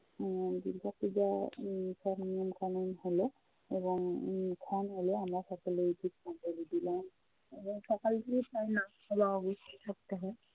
উম দুর্গাপূজার উম সব নিয়ম কানুন হলো এবং উম খ্যান হলো। আমরা সকলেই পুষ্পাঞ্জলি দিলাম এবং সকাল থেকেই সবাই না খাওয়া অবস্থায় থাকতে হয়।